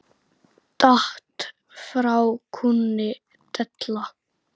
Datt frá kúnni della.